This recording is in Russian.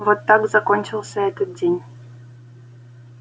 вот так закончился этот день